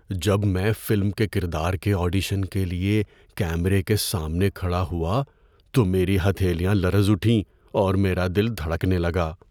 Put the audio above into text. جب میں فلم کے کردار کے آڈیشن کے لیے کیمرے کے سامنے کھڑا ہوا تو میری ہتھیلیاں لرز اٹھیں اور میرا دل دھڑکنے لگا۔